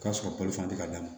O ka sɔrɔ balo tɛ ka d'a ma